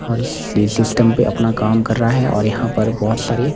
और ये सिस्टम पे अपना काम कर रहा है और यहाँ पर बहुत सारी--